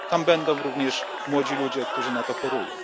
Będą tam również młodzi ludzie, którzy na to chorują.